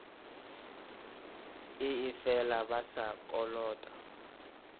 ee fela ba sa kolota